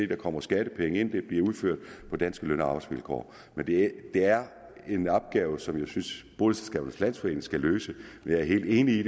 der kommer skattepenge ind når det bliver udført på danske løn og arbejdsvilkår det er en opgave som jeg synes boligselskabernes landsforening skal løse jeg er helt enig